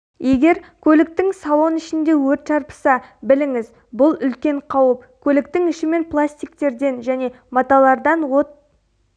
егер көліктің салон ішінде өрт шарпыса біліңіз бұл үлкен қауіп көліктің ішімен пластиктерден және маталардан от